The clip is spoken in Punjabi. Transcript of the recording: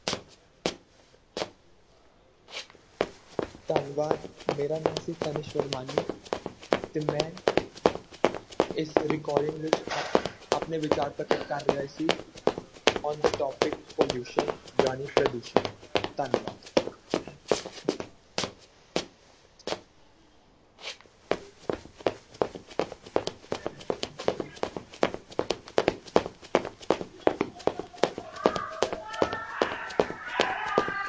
ਧੰਨਵਾਦ ਮੇਰਾ ਨਾਮ ਸੀ ਤਨਿਸ਼ ਵਰਮਾਨੀ ਤੇ ਮੈਂ ਇਸ recording ਵਿੱਚ ਆਪਣੇ ਵਿਚਾਰ ਪ੍ਰਗਟ ਕਰ ਰਿਹਾ ਸੀ on the topic pollution ਜਾਣੀ ਪ੍ਰਦੂਸ਼ਣ ਧੰਨਵਾਦ।